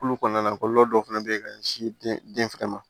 Kulu kɔnɔna dɔw fana bɛ yen ka ɲɛsin den fɛnɛ ma